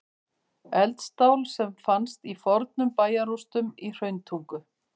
Eldstál sem fannst í fornum bæjarrústum í Hrauntungu.